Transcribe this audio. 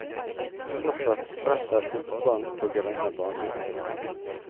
Fortsatt spretter fotballen på grønne baner.